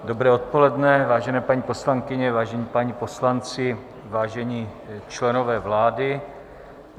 Dobré odpoledne, vážené paní poslankyně, vážení páni poslanci, vážení členové vlády.